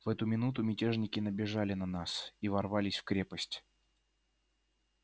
в эту минуту мятежники набежали на нас и ворвались в крепость